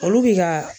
Olu bi ka